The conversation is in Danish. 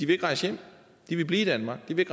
vil rejse hjem de vil blive i danmark de vil